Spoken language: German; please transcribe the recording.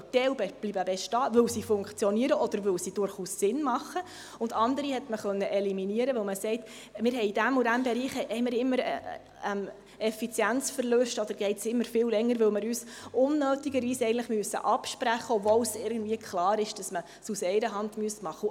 Manche bleiben bestehen, weil sie funktionieren oder weil sie durchaus Sinn machen, und andere konnte man eliminieren, weil man sagte, in diesem oder jenem Bereich hätten wir immer Effizienzverluste oder gehe es immer viel länger, weil wir uns eigentlich unnötigerweise absprechen müssen, obwohl es irgendwie klar ist, dass man es aus einer Hand machen müsste.